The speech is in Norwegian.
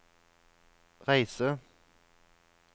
reise